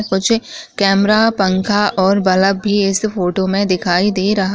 camera पंखा और bulb भी इस फोटो में दिखाई दे रहा--